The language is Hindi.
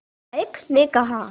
नायक ने कहा